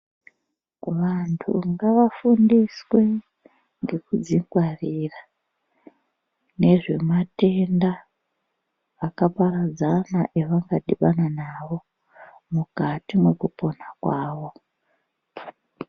Vantu ngavafundiswe ngekudzingwarira nezvematenda akaparadzana avangadhibana nawo mukati mwekupona kwavo.